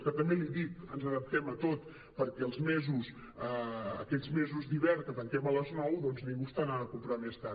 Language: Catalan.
que també l’hi dic ens adaptem a tot perquè els mesos aquests mesos d’hivern que tanquem a les nou doncs ningú està anant a comprar més tard